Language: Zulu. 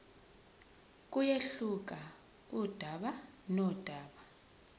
kuyehluka kudaba nodaba